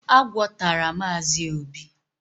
Agwọ tara Mazi obi